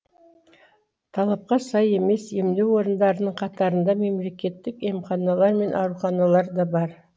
талапқа сай емес емдеу орындарының қатарында мемлекеттік емханалар мен ауруханалар да бар